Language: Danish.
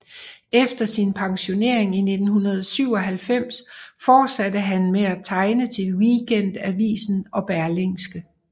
Efter sin pensionering i 1997 fortsatte han med at tegne til Weekendavisen og Berlingske